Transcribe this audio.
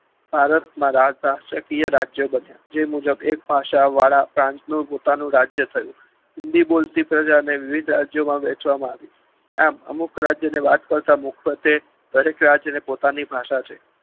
ભારતમાં રાજ રાષ્ટ્રીયકીય રાજ્યો બન્યા જે મુજબ એક ભાષા વાળા ફ્રાંચનું પોતાનું રાજ્ય થયું હિન્દી બોલતી પ્રજાને વિવિધ રાજ્યોમાં વેચવામાં આવી આમ અમુક રાજ્યો વાત કરતા મોક્લતે દરેક રાજ્યને પોતાની ભાષા છે